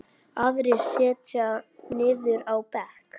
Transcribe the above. Aðrir setjast niður á bekk.